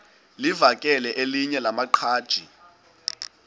livakele elinye lamaqhaji